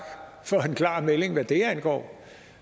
for en klar melding hvad det angår